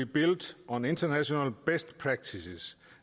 built on international best practices